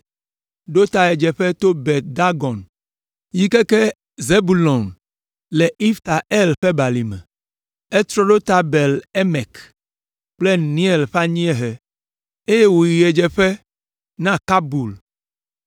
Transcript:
ɖo ta ɣedzeƒe to Bet Dagon yi keke Zebulon le Ifta El ƒe balime. Etrɔ ɖo ta Bet Emek kple Neiel ƒe anyiehe, eye wòyi ɣedzeƒe na Kabul,